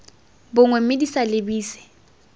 bongwe mme di sa lebise